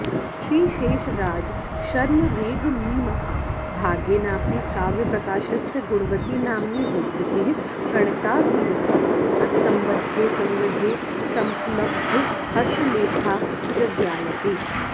श्रीशेषराजशर्मरेग्मीमहाभागेनापि काव्यप्रकाशस्य गुणवती नाम्नी विवृतिः प्रणीताऽऽसीदिति तत्सम्बद्धे सङ्ग्रहे समुपलब्धहस्तलेखाज्ज्ञायते